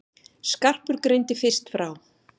Skarpur greindi fyrst frá.